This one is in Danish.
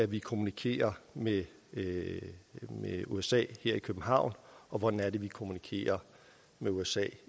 vi kommunikerer med usa her i københavn og hvordan det er vi kommunikerer med usa